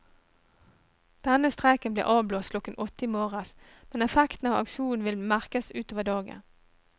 Denne streiken blir avblåst klokken åtte i morges, men effekten av aksjonen vil merkes utover dagen.